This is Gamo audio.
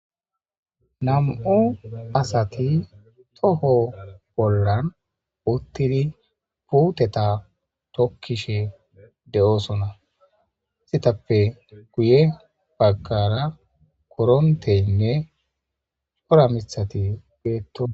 nam7u asati toho bollan uttidi puuteta tokkishe de7oosona istitappe guye baggara koronteynne ora mithati beeto